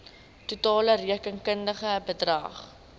totale rekenkundige bedrag